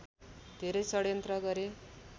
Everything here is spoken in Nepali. धेरै षड्यन्त्र गरे